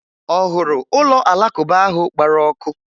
Ọ hụrụ ụlọ Alakụba ahụ gbara ọkụ?